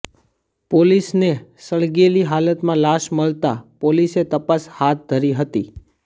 પોલીસને સળગેલી હાલતમાં લાશ મળતા પોલીસે તપાસ હાથ ધરી હતી